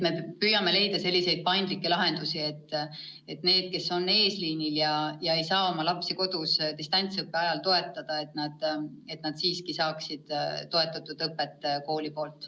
Me püüame leida paindlikke lahendusi, et need, kes on eesliinil ega saa oma lapsi kodus distantsõppe ajal toetada, saaksid tuge õpetajalt ja koolilt.